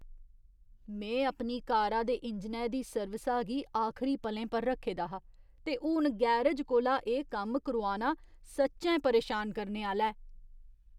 में अपनी कारा दे इंजनै दी सर्विसा गी आखरी पलें पर रक्खे दा हा , ते हून गैरज कोला एह् कम्म करोआना सच्चैं परेशान करने आह्‌ला ऐ।